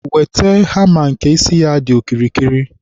wete hama nke isi ya dị okirikiri.